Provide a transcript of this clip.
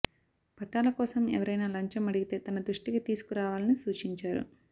పట్టాల కోసం ఎవరైన లంచం అడిగితే తన దృష్టికి తీసుకరా వాలని సూచించారు